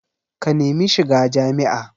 Ka nemi shiga jami'a